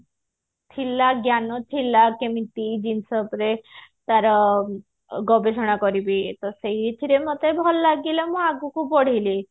ଥିଲା ଜ୍ଞାନ ଥିଲା କେମିତି ଜିନିଷ ଉପରେ ତାର ଗବେଷଣା କରିବି ଏ ତ ସେଇଥିରେ ମତେ ଭଲ ଲାଗିଲା ମୁଁ ଆଗକୁ ବଢିଲି